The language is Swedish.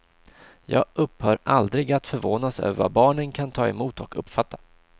Jag upphör aldrig att förvånas över vad barnen kan ta emot och uppfatta.